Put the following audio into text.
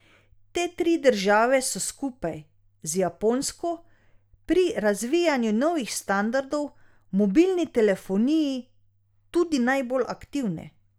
Te tri države so skupaj z Japonsko pri razvijanju novih standardov v mobilni telefoniji tudi najbolj aktivne.